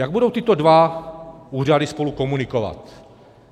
Jak budou tyto dva úřady spolu komunikovat?